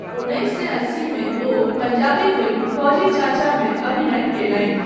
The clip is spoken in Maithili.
उन्नैस सए अस्सीमे ओ पंजाबी फिल्म 'फौजी चाचा' मे अभिनय कयलनि।